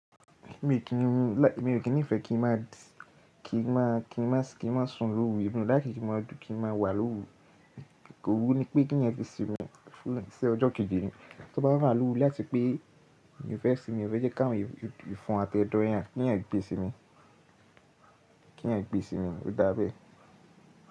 Èmi ò kí ń nífẹ̀ẹ́ kí n má a sùn lóru emi o like kin máa dùn kí n má a wà lóru. Ko wú ní pé kí èèyàn fi sínmi fún ọjọ́ kéje mi, tó bá wà iru láti pé mi o fẹ́ sími, mo fẹ́ jẹ́ ká wọn ìfún àti ẹ̀dọ̀ yẹn kí èèyàn gbé sínmi, kí èèyàn gbé sínmi, ó dá bẹ́ẹ̀.